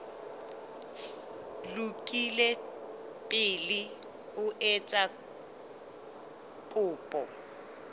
lokile pele o etsa kopo